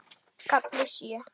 KAFLI SJÖ